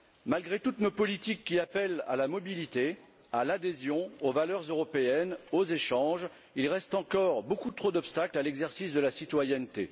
Malgré toutes nos politiques qui appellent à la mobilité, à l'adhésion, aux valeurs européennes, aux échanges, il reste encore beaucoup trop d'obstacles à l'exercice de la citoyenneté.